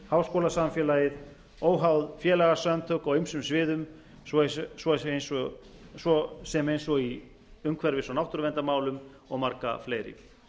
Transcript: háskólasamfélagið óháð félagasamtök á ýmsum sviðum svo sem eins og í umhverfis og náttúruverndarmálum og marga fleiri